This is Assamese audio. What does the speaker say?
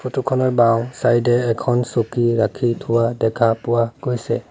ফটোখনৰ বাওঁছাইডে এখন চকী ৰাখি থোৱা দেখা পোৱা গৈছে।